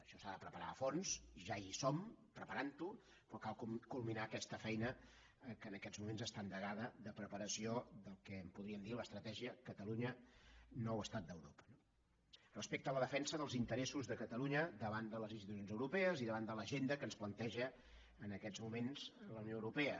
això s’ha de preparar a fons ja hi som preparant ho però cal culminar aquesta feina que en aquests moments està endegada de preparació del que en podríem dir l’estratègia catalunya nou estat d’europa no respecte a la defensa dels interessos de catalunya davant de les institucions europees i davant de l’agenda que ens planteja en aquests moments la unió europea